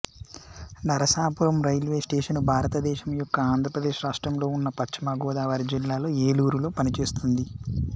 Narasapuram railway station భారత దేశము యొక్క ఆంధ్ర ప్రదేశ్ రాష్ట్రంలో ఉన్న పశ్చిమ గోదావరి జిల్లాలో ఏలూరులో పనిచేస్తుంది